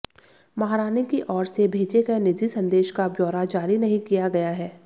महारानी की ओर से भेजे गए निजी संदेश का ब्यौरा जारी नहीं किया गया है